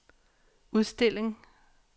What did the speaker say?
udstilling